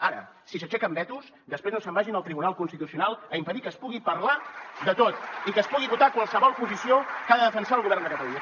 ara si s’aixequen vetos després no se’n vagin al tribunal constitucional a impedir que es pugui parlar de tot i que es pugui votar qualsevol posició que ha de defensar el govern de catalunya